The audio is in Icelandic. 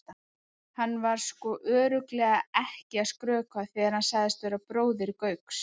Hann var sko örugglega ekki að skrökva þegar hann sagðist vera bróðir Gauks.